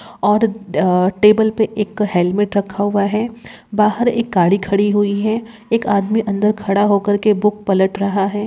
और टेबल पे एक हेलमेट रखा हुआ है बाहर एक गाड़ी खड़ी हुई है एक आदमी अंदर खड़ा हो करके बुक पलट रहा हैं।